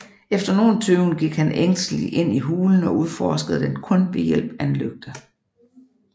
Efter nogen tøven gik han ængsteligt ind i hulen og udforskede den kun ved hjælp af en lygte